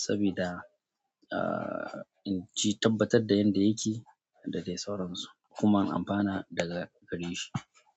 saboda in ji tabbatar da yadda yake da dai sauransu kuma in amfana daga gare shi.